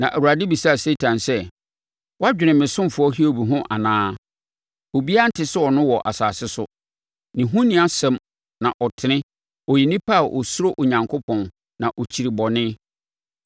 Na Awurade bisaa Satan sɛ, “Wadwene me ɔsomfoɔ Hiob ho anaa? Obiara nte sɛ ɔno wɔ asase so, ne ho nni asɛm na ɔtene, ɔyɛ onipa a ɔsuro Onyankopɔn na ɔkyiri bɔne.”